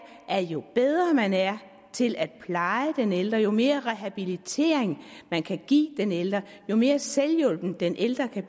at jo bedre man er til at pleje den ældre jo mere rehabilitering man kan give den ældre jo mere selvhjulpen den ældre kan